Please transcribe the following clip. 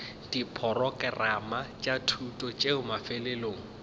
diporokerama tša thuto tšeo mafelelong